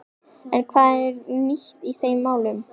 En hvað er nýtt í þeim málum?